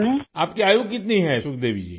آپ کی عمر کتنی ہے سکھ دیوی جی؟